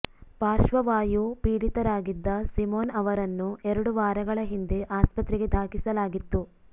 ಪಾರ್ಶ್ವವಾಯು ಪೀಡಿತರಾಗಿದ್ದ ಸಿಮೋನ್ ಅವರನ್ನು ಎರಡು ವಾರಗಳ ಹಿಂದೆ ಆಸ್ಪತ್ರೆಗೆ ದಾಖಲಿಸಲಾಗಿತ್ತು